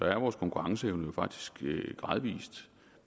er vores konkurrenceevne jo faktisk gradvis